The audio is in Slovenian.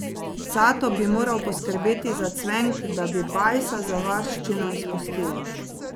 Cato bi moral poskrbeti za cvenk, da bi Bajsa za varščino izpustili.